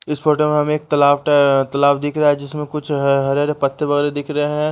इस फोटो में हमें एक तालाब तालाब दिख रहा है जिसमें कुछ हरे हरे पत्ते वगैरह दिख रहे हैं --